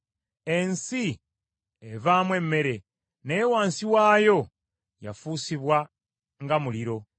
Ensi evaamu emmere, naye wansi waayo yafuusibwa nga muliro.